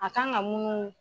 A kan ka mununu.